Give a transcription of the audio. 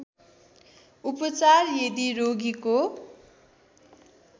उपचार यदि रोगीको